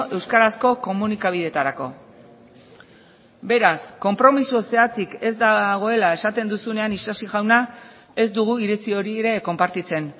euskarazko komunikabideetarako beraz konpromiso zehatzik ez dagoela esaten duzunean isasi jauna ez dugu iritzi hori ere konpartitzen